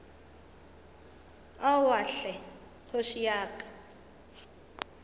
aowa hle kgoši ya ka